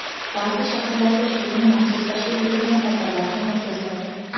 Baʼzi shaharlarda shu kuni maxsus tashkil etilgan tadbirlar ham o‘tkaziladi.